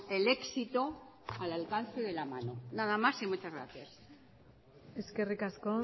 el éxito al alcance de la mano nada más y muchas gracias eskerrik asko